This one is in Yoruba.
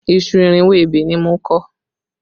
Iṣu irinwó ebè ni mo kọ